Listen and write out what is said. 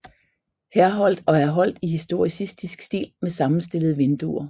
Herholdt og er holdt i historicistisk stil med sammenstillede vinduer